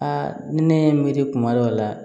Aa ni ne ye n miiri kuma dɔw la